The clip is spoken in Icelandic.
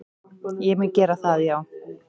Ég mun gera það já,